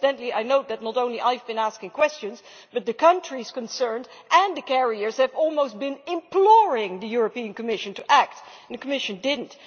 Incidentally, I know that not only have I been asking questions but the countries concerned and the carriers have almost been imploring the European Commission to act, and the Commission has not.